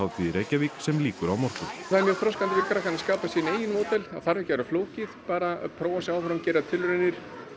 í Reykjavík sem lýkur á morgun það er mjög þroskandi fyrir krakkana að skapa sín eigin módel það þarf ekki að vera flókið bara prófa sig áfram og gera tilraunir